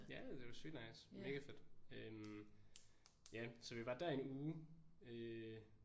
Ja det var sygt nice mega fedt øh. Ja så vi var dér en uge øh